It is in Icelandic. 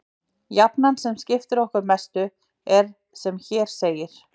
Jafnan sem okkur skiptir mestu er sem hér segir: